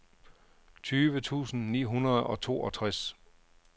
tyve tusind ni hundrede og toogtres